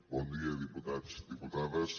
bon dia diputats diputades